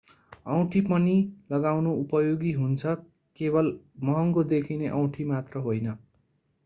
औँठी पनि लगाउनु उपयोगी हुन्छ केवल महँगो देखिने औँठी मात्र होइन।